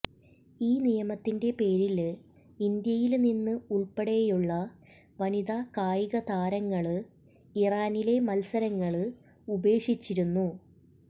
ഈ നിയമത്തിന്റെ പേരില് ഇന്ത്യയില്നിന്ന് ഉള്പ്പെടെയുള്ള വനിതാ കായികതാരങ്ങള് ഇറാനിലെ മത്സരങ്ങള് ഉപേക്ഷിച്ചിരുന്നു